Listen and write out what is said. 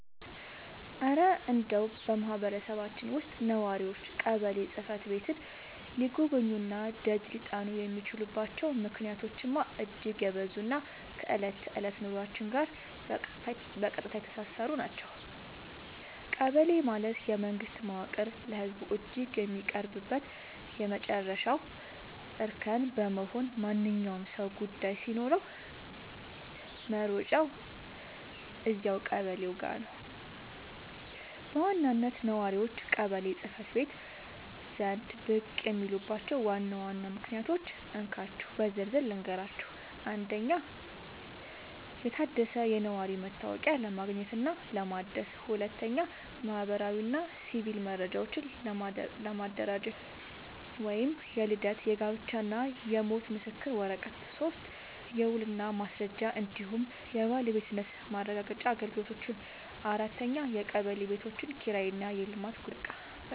እረ እንደው በማህበረሰባችን ውስጥ ነዋሪዎች ቀበሌ ጽሕፈት ቤትን ሊጎበኙና ደጅ ሊጠኑ የሚችሉባቸው ምክንያቶችማ እጅግ የበዙና ከዕለት ተዕለት ኑሯችን ጋር በቀጥታ የተሳሰሩ ናቸው! ቀበሌ ማለት የመንግስት መዋቅር ለህዝቡ እጅግ የሚቀርብበት የመጨረሻው እርከን በመሆኑ፣ ማንኛውም ሰው ጉዳይ ሲኖረው መሮጫው እዚያው ቀበሌው ጋ ነው። በዋናነት ነዋሪዎች ቀበሌ ጽ/ቤት ዘንድ ብቅ የሚሉባቸውን ዋና ዋና ምክንያቶች እንካችሁ በዝርዝር ልንገራችሁ፦ 1. የታደሰ የነዋሪነት መታወቂያ ለማግኘትና ለማደስ 2. ማህበራዊና ሲቪል መረጃዎችን ለማደራጀት (የልደት፣ የጋብቻና የሞት ምስክር ወረቀት) 3. የውልና ማስረጃ እንዲሁም የባለቤትነት ማረጋገጫ አገልግሎቶች 4. የቀበሌ ቤቶች ኪራይና የልማት ጉዳዮች